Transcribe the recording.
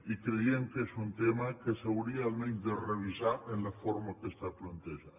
i creiem que és un tema que s’hauria almenys de revisar en la forma que està plantejada